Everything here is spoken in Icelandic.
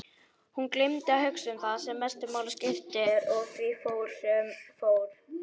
Hún gleymdi að hugsa um það sem mestu máli skipti og því fór sem fór.